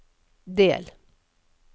del